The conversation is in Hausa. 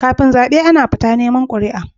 Kafin zabe Ana fita neman quri'a